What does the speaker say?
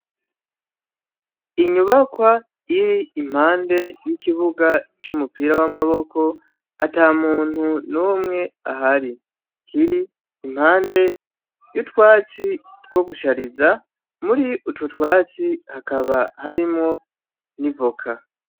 Inyubakwa iri impande y'ikibuga c'umupira w'amaboko, ata muntu numwe ahari. Kiri impande y'utwatsi two gushariza, muri utu twatsi hakaba harimwo n'ivoka.